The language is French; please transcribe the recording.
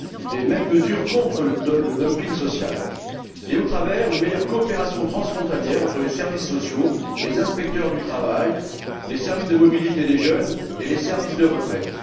des mêmes mesures contre le dumping social et au travers d'une meilleure coopération transfrontalière entre les services sociaux, les inspecteurs du travail, les services de mobilité des jeunes et les services de retraite.